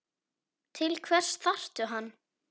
Til hvers þarftu hann?